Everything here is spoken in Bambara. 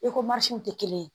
tɛ kelen ye